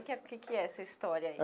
O que é que que é essa história aí?